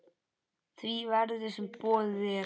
því verði, sem boðið er.